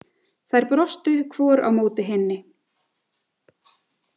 Þær brostu hvor á móti hinni.